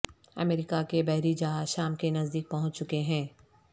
امریکہ کے بحری جہاز شام کے نزدیک پہنچ چکے ہیں